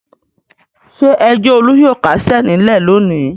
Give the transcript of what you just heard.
Ṣé ẹjọ́ Olú yóò kásẹ̀ nílẹ̀ lónìí?